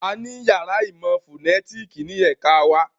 A ní yàrá ìmọ̀ fònétìkì ní ẹ̀ka wa